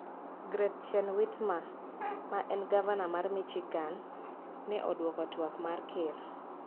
Gretchen Whitmer, ma en gavana mar Michigan, ne odwoko twak mar Ker